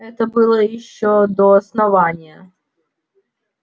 это было ещё до основания